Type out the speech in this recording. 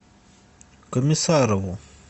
комиссарову